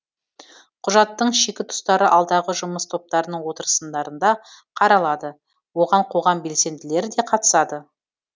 құжаттың шикі тұстары алдағы жұмыс топтарының отырысындарында қаралады оған қоғам белсенділері де қатысады